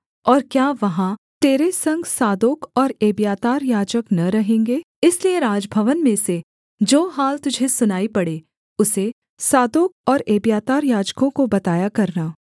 और क्या वहाँ तेरे संग सादोक और एब्यातार याजक न रहेंगे इसलिए राजभवन में से जो हाल तुझे सुनाई पड़े उसे सादोक और एब्यातार याजकों को बताया करना